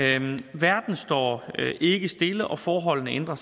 verden står ikke stille og forholdene ændrer